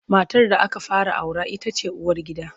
Matar da aka fara aura ita ce uwargida.